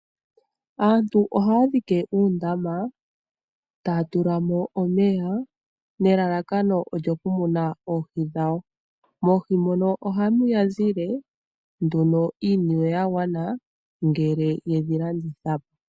Aantu ohaya dhike uundama, taya tula mo omeya, nelalakano okumuna oohi dhawo . Moohi mono ohamu ya zile iiniwe ya gwana ngele ye dhi landitha po.